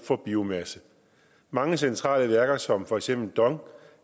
for biomasse mange centrale værker som for eksempel dongs